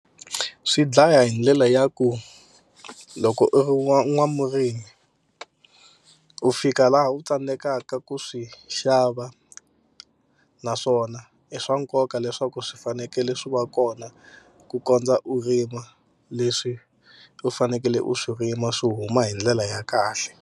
Swi dlaya hi ndlela ya ku loko u ri n'wamurimi u fika laha u tsandzekaka ku swi xava naswona i swa nkoka leswaku swi fanekele swi va kona ku kondza u rima leswi u fanekele u swi rima swi huma hi ndlela ya kahle.